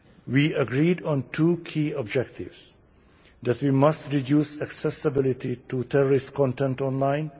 We agreed on two key objectives that we must reduce accessibility to terrorist content online